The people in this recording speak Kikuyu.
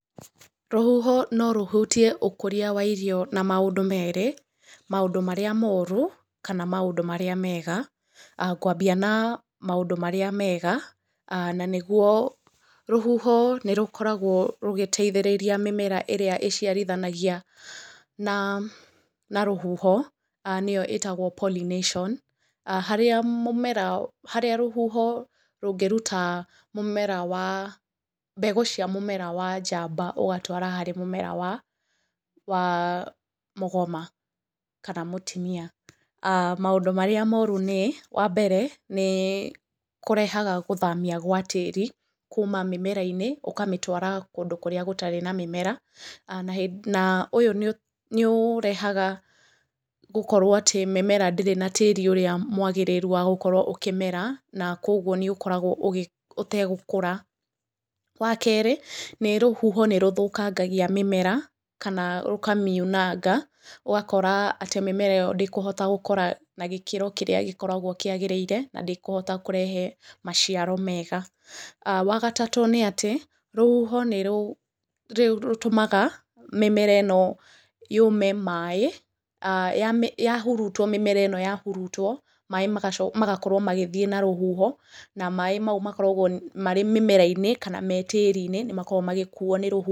Rũhuho no rũhutie ũkũria wa irio na maũndũ meerĩ, maũndũ marĩa moru kana maũndũ marĩa mega. Ngwambia na maũndũ marĩa mega, na nĩguo rũhũho nĩ rũkoragwo rũgĩteithĩrĩria mĩmera ĩrĩa ĩciarithanagia na rũhuho, nĩyo ĩĩtagwo pollination, harĩa mũmera, harĩa rũhuho rũngĩruta mũmera wa, mbegũ cia mũmera wa njamba ũgatwara harĩ mũmera wa mũgoma kana mũtumia. Maũndũ marĩa moru nĩ, wa mbere nĩ kũrehaga gũthamia gwa tĩĩri kuuma mĩmera-inĩ ũkamĩtwara kũndũ kũrĩa gũtarĩ na mĩmera, na ũyũ nĩ ũrehaga gũkorwo atĩ mĩmera ndĩrĩ na tĩĩri ũrĩa mwagĩrĩru wa gũkorwo ũkĩmera na kwoguo nĩ ũkoragwo ũgi, ũtegũkũra. Wa keerĩ nĩ rũhuho nĩ rũthũkagagia mĩmera kana rũkamiunanga ũgakora atĩ mĩmera ĩyo ndĩkũhota gũkũra na gĩkĩro kĩrĩa gĩkoragwo kĩagĩrĩire na ndĩkũhota kũrehe meciaro mega. Wa gatatũ nĩ atĩ rũhuho nĩ rũtũmaga mĩmera ĩno yũũme maaĩ yahurutwo mĩmera ĩno yahurutwo maaĩ magakorwo magĩthiĩ na rũhuho na maaĩ mau makoragwo marĩ mĩmera-inĩ kana me tĩĩri-inĩ nĩ makoragwo magĩkuo nĩ rũhuho.